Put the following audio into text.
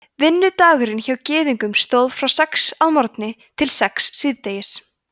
vinnudagurinn hjá gyðingum stóð frá sex að morgni til sex síðdegis